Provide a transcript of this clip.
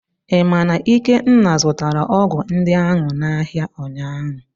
Ị ma na Ikenna zụtara ọgwụ ndị ahụ n'ahịa ụnyaahụ?